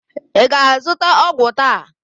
Ị ga-azụta ọgwụ taa?